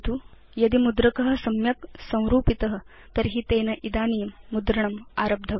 यदि मुद्रक सम्यक् संरूपित तर्हि तेन इदानीं मुद्रणम् आरब्धव्यम्